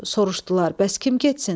Soruşdular: "Bəs kim getsin?"